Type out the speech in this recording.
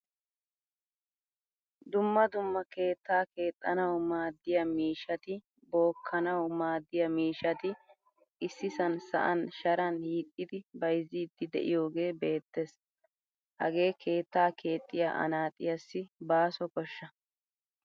Dumma dumma keetta keexanawu maadiyaa miishshati bookanawu maadiyaa miishshati issisan sa'an sharan hiixidi bayzzidi deiyoge beetees. Hagee keettaaa keexiyaa anaxiyasi baaso koshsha.